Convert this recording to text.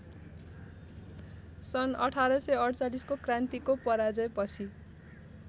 सन् १८४८ को क्रान्तिको पराजयपछि